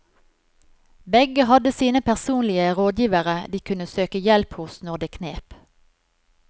Begge hadde sine personlige rådgivere de kunne søke hjelp hos når det knep.